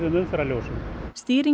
umferðarljósum